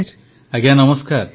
ପ୍ରଧାନମନ୍ତ୍ରୀ ଆଜ୍ଞା ନମସ୍କାର